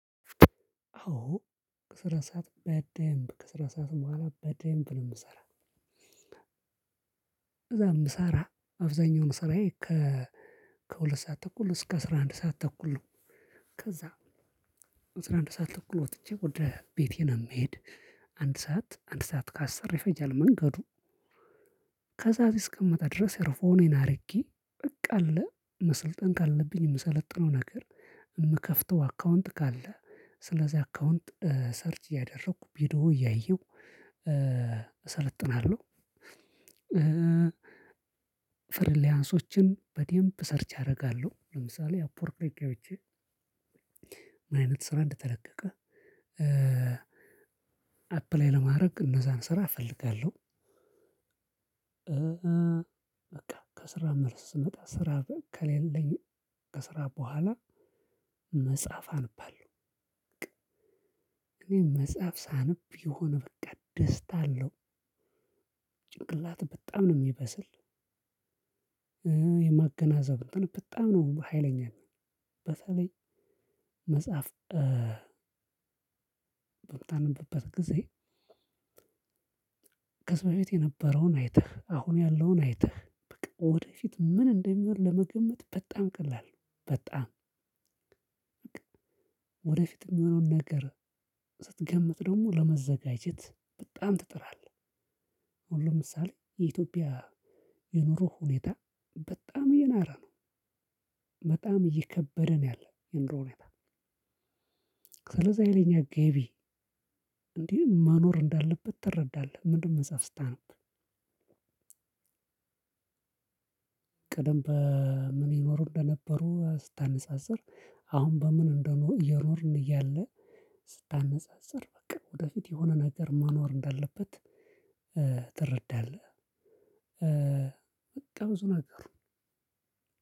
አዎ ከስራ ሰዓት በደንብ ከስራ ሰዓት መሃል በደንብ ነው የምሰራው። እዛም ሳራ አብዛኛውን ስራዬ ከ ከሁለት ሰዓት ተኩል እስከ አስራ አንድ ሰዓት ተኩል ነው ከዛ አስራ አንድ ሰዓት ተኩል ወጥቼ ወደ ቤቴ ነው። የምሄድ አንድ ሰዓት አንድ ሰዓት ከአስር ይፈጃል መንገዱ ከዛ እስከመጣ ድረስ የርፎኔን አድርጌ በቃ አለ መሰልጠን ካለብኝ የምሰለጥነው ነገር የምከፍተው አካውንት ካለ ስለዚህ አካውንት ሰርች እያደረኩ ቢዶ እያየሁ እሰለጥናለሁ። ፍርል ሊያንስን በዴምፕ ሰርች አደርጋለሁ ለምሳሌ አፕወርክ ላይ ገብቼ ምን አይነት ስራ እንደተለቀቀ አፕላይ ለማድረግ እነዛን ስራ እፈልጋለሁ። በቃ ከስራ መልስ ስመጣ ስራ ከሌለኝ ከስራ በኋላ መጽሐፍ አንባልሁ። መጽሐፍ ሳነብ ይሆን በቃ ደስታ አለው ጭንቅላት በጣም ነው የሚበስል ማገናዘብ በጣም ነው ሀይለኛ በተለይ መጽሐፍ በማጠናበት ጊዜ ከዛ በፊት የነበረውን አይተህ አሁን ያለውን አይተህ በቃ ወደፊት ምን እንደሚሆን ለመገመት በጣም ቀላል ነው በጣም ወደፊት የሚሆነውን ነገር ስትገምት ደግሞ ለመዘጋጀት በጣም ትጥራለህ። ሁሉም ምሳሌ የኢትዮጵያ የኑሮ ሁኔታ በጣም የናራ ነው በጣም እየከበደ ነው ያለው የኑሮ ነገር ስለዚህ አይነት ገቢ እንዲህ መኖር እንዳለበት ትረዳለህ ምንም መጽሐፍ ስታነብ ቅደም በምን ይኖሩ እንደነበሩ ስታነጻጽር አሁን በምን እንደሆነ እየኖርን እያለ ስታነጻጽር በቃ ወደፊት የሆነ ነገር መኖር እንዳለበት ትረዳለህ። በቃ ብዙ ነገሩ